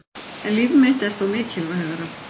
En líf mitt er þó mikilvægara